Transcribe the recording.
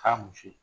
K'a muso